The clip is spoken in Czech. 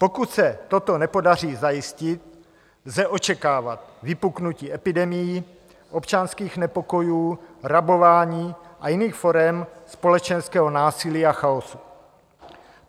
Pokud se toto nepodaří zajistit, lze očekávat vypuknutí epidemií, občanských nepokojů, rabování a jiných forem společenského násilí a chaosu.